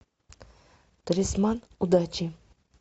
талисман удачи